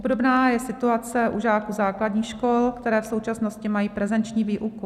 Obdobná je situace u žáků základních škol, které v současnosti mají prezenční výuku.